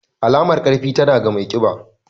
Alamar ƙarfi, tana ga mai ƙiba.